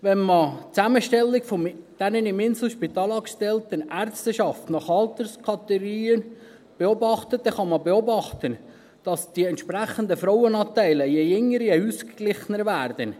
Wenn man die Zusammenstellung der im Inselspital angestellten Ärzteschaft nach Alterskategorie betrachtet, kann man beobachten, dass die entsprechenden Frauenanteile je länger, desto ausgeglichener werden.